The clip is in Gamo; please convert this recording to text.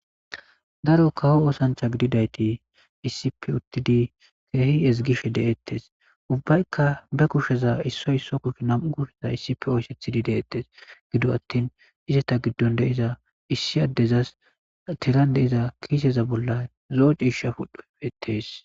Daro kawo oosanctha gididayti isipi uttidi keehi ezigishe deettes ubbaykka be kusheza issoy isso kush nam'u guseza issipi oyssethidi deettes gido attin izeta giddon deiza issi addezas tiran deiza kiiseza bolla zo'o ciisha pudheetees.